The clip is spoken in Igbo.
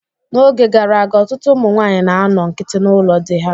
N'oge gara aga, ọtụtụ ụmụ nwaanyị na-anọ nkiti n'ụlọ di ha.